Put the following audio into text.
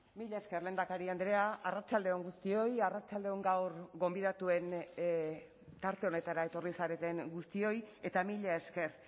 mila esker lehendakari andrea arratsalde on guztioi arratsalde on gaur gonbidatuen tarte honetara etorri zareten guztioi eta mila esker